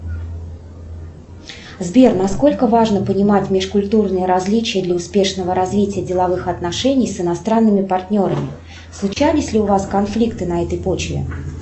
сбер на сколько важно понимать межкультурные различия для успешного развития деловых отношений с иностранными партнерами случались ли у вас конфликты на этой почве